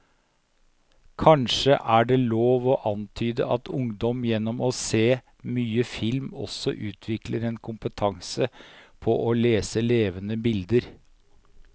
Kanskje er det lov å antyde at ungdom gjennom å se mye film også utvikler en kompetanse på å lese levende bilder.